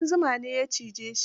Ƙudan zuma ne ya cije shi.